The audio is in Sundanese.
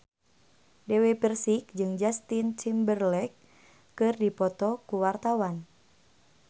Dewi Persik jeung Justin Timberlake keur dipoto ku wartawan